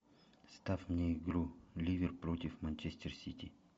ставь мне игру ливер против манчестер сити